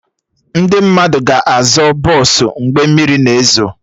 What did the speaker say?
Ndị mmadụ ga-azọ bọsụ mgbe mmiri na ezo